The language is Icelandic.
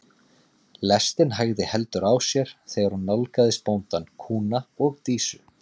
Lestin hægði heldur á sér þegar hún nálgaðist bóndann, kúna og Dísu.